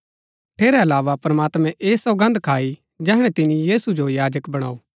ठेरै अलावा प्रमात्मैं ऐह सौगन्द खाई जैहणै तिनी यीशु जो याजक बणाऊ